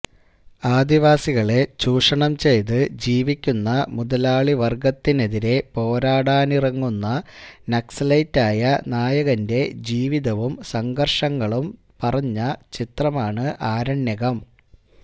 ആദിവാസികളെ ചൂഷണം ചെയ്ത് ജീവിക്കുന്ന മുതലാളി വർഗത്തിനെതിരെ പോരാടാനിറങ്ങുന്ന നക്സലൈറ്റ് ആയ നായകന്റെ ജീവിതവും സംഘർഷങ്ങളും പറഞ്ഞ ചിത്രമാണ് ആരണ്യകം